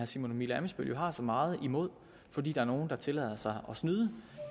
simon emil ammitzbøll jo har så meget imod fordi der er nogen der tillader sig at snyde